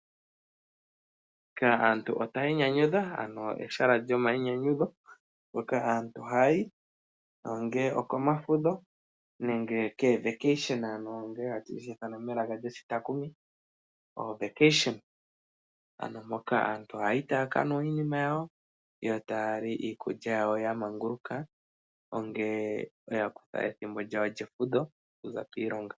Aantu otaya inyanyudha. Ehala lyomayinyanyudho hoka aantu haya yi ongele okomafudho nenge komatalelopo. Aantu ohaya yi ya ka nwe iikunwa yawo yo taya li iikulya yawo ya manguluka ngele ya kutha ethimbo lyawo lyefudho okuza kiilonga.